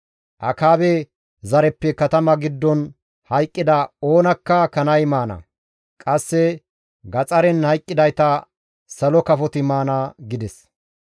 Akaabe zareppe katama giddon hayqqida oonakka kanay maana; qasse gaxaren hayqqidayta salo kafoti maana» gides.